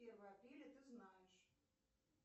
первое апреля ты знаешь